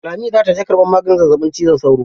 Lami za ta je karɓan maganin zazzaɓin cizon sauro.